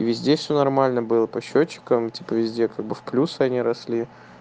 везде всё нормально было по счётчикам типа везде как бы в плюс они росли